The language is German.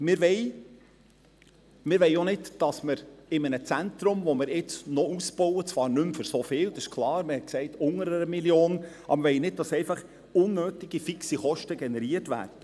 Wir wollen auch nicht, dass in einem Zentrum, das wir nun noch ausbauen – zwar nicht mehr für so viel, man sprach von weniger als 1 Mio. Franken –, unnötige fixe Kosten generiert werden.